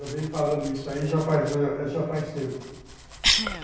Eu venho falando isso aí já faz tempo.